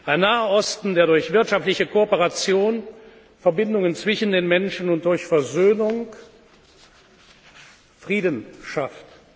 Ein Naher Osten, der durch wirtschaftliche Kooperation Verbindungen zwischen den Menschen und durch Versöhnung Frieden schafft.